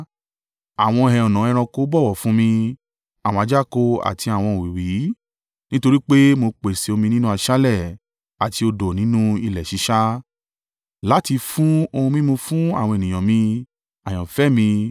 Àwọn ẹhànnà ẹranko bọ̀wọ̀ fún mi, àwọn ajáko àti àwọn òwìwí, nítorí pé mo pèsè omi nínú aṣálẹ̀ àti odò nínú ilẹ̀ sísá, láti fi ohun mímu fún àwọn ènìyàn mi, àyànfẹ́ mi,